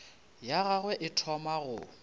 ya gagwe e thoma go